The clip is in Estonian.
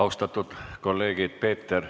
Istungi lõpp kell 17.52.